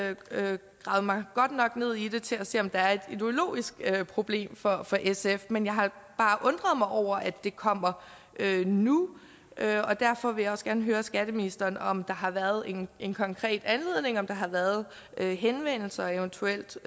har mig godt nok ned i det til at se om der er et ideologisk problem for for sf men jeg har bare undret mig over at det kommer nu og derfor vil jeg også gerne høre skatteministeren om der har været en en konkret anledning om der har været henvendelser og eventuelt